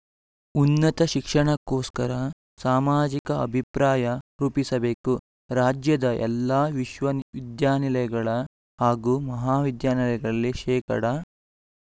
ಉನ್ನತ ಶಿಕ್ಷಣಕ್ಕೋಸ್ಕರ ಸಾಮಾಜಿಕ ಅಭಿಪ್ರಾಯ ರೂಪಿಸಬೇಕು ರಾಜ್ಯದ ಎಲ್ಲಾ ವಿಶ್ವವಿದ್ಯಾನಿಲಯಗಳ ಹಾಗೂ ಮಹಾವಿದ್ಯಾನಿಲಯಗಳಲ್ಲಿ ಶೇಕಡಾ